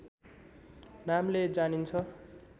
नामले जानिन्छ